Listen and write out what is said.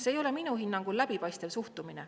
See ei ole minu hinnangul läbipaistev suhtumine.